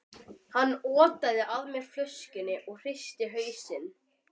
Hann otaði að mér flöskunni, en ég hristi hausinn.